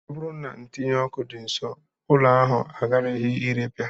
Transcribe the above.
Ọ bụrụ na ntinyụọkụ dị nsọ, ụlọ ahụ agaraghị irepịa